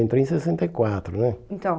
Eu entrei em sessenta e quatro né. Então